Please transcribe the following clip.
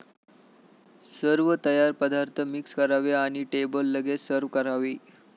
सर्व तयार पदार्थ मिक्स करावे आणि टेबल लगेच सर्व्ह करावे.